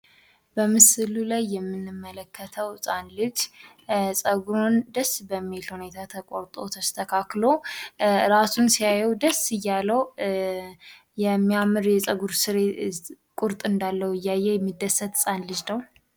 በምስሉ ላይ የምንመለከተው ህጻን ልጅ ጸጉሩን ደስ በሚል ሁኔት ተቆርጦ ተስተካክሎ እራሱን ሲያየው ደስ እያለው የሚያም የጸጉር ቁርጥ እንዳለው እያየ የሚደሰት ህጻን ልጅ ነው።